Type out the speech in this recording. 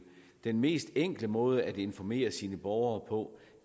den mest enkle måde at informere sine borgere på